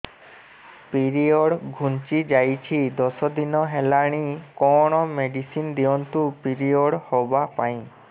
period ଘୁଞ୍ଚି ଯାଇଛି ଦଶ ଦିନ ହେଲାଣି କଅଣ ମେଡିସିନ ଦିଅନ୍ତୁ ପିରିଅଡ଼ ହଵା ପାଈଁ